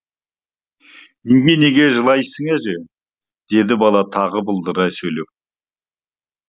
неге неге жылайсың әже деді бала тағы былдырлай сөйлеп